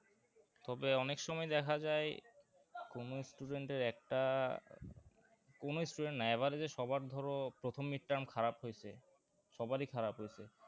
তবে অনেক সময় দেখা যায় কোনো student এর একটা কোনো student না average এ সবার ধরো প্রথম mid-term খারাপ হয়েছে সবারই খারাপ হয়েছে